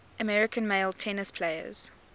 american male tennis players